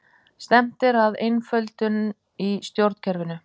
Stefnt er að einföldun í stjórnkerfinu